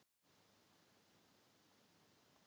Malín, hvar er dótið mitt?